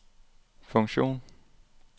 funktion